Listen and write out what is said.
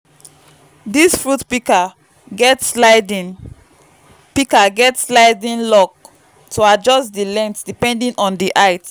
dis fruit pika get sliding pika get sliding lock to adjust di length depending on di height